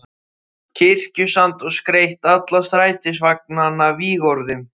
Kirkjusand og skreytt alla strætisvagnana vígorðum.